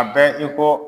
A bɛ i ko